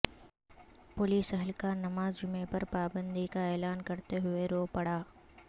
police اہلکار نماز جمعہ پر پابندی کا اعلان کرتے ہوئے رو پڑا